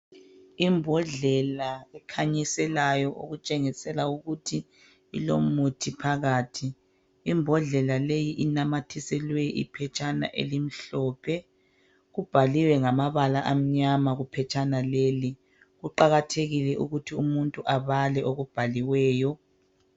Imbodlela ekhanyiselayo okutshengisela ukuthi ilomuthi phakathi imbodlela leyi inamathiselwe iphetshana elimhlophe kubhaliwe ngamabala amnyama kuphetshana leli kuqakathekile ukuthi umuntu abale okubhaliweyo.